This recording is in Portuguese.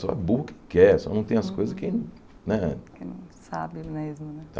Só é burro que quer, só não tem as coisas que não né... Quem não sabe mesmo, né?